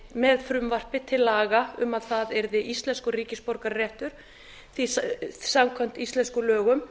með frumvarpi til laga um að það yrði íslenskur ríkisborgararéttur því samkvæmt íslenskum lögum